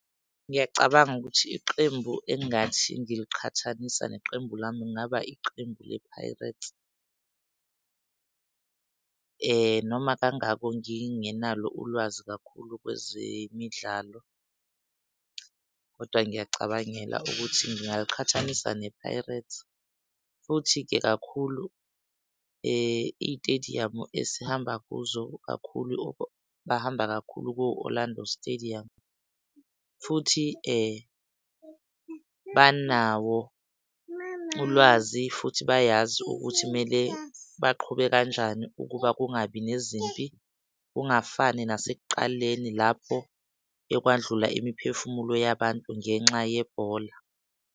Ngiyacabanga ukuthi iqembu engathi ngiliqhathanisa neqembu lami, kungaba iqembu le-Pirates noma kangako ngingenalo ulwazi kakhulu kwezemidlalo, kodwa ngiyayicabangela ukuthi ngingaliqhathanisa ne-Pirates. Futhi-ke kakhulu iy'tadium esihamba kuzo kakhulu, bahamba kakhulu ko-Orlando Stadium futhi banawo ulwazi futhi bayazi ukuthi kumele baqhube kanjani ukuba kungabi nezimpi, kungafani nasekuqaleni lapho ekwadlula imiphefumulo yabantu ngenxa yebhola.